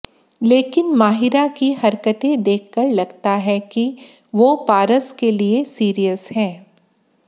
लेकिन माहिरा की हरकतें देखकर लगता है कि वो पारस के लिए सीरियस हैं